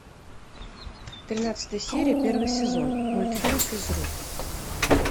тринадцатая серия первый сезон мультфильм физрук